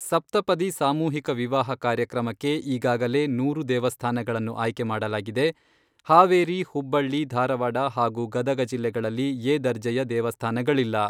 ಸಪ್ತಪದಿ ಸಾಮೂಹಿಕ ವಿವಾಹ ಕಾರ್ಯಕ್ರಮಕ್ಕೆ ಈಗಾಗಲೇ ನೂರು ದೇವಸ್ಥಾನಗಳನ್ನು ಆಯ್ಕೆ ಮಾಡಲಾಗಿದೆ. ಹಾವೇರಿ, ಹುಬ್ಬಳ್ಳಿ ಧಾರವಾಡ ಹಾಗೂ ಗದಗ ಜಿಲ್ಲೆಗಳಲ್ಲಿ ಎ ದರ್ಜೆಯ ದೇವಸ್ಥಾನಗಳಿಲ್ಲ.